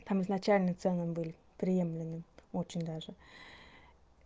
там изначально цены были приемлемы очень даже